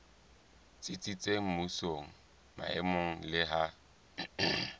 tsitsitseng mmusong maemong le ha